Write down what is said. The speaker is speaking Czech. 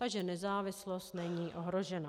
Takže nezávislost není ohrožena.